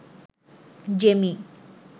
Jamie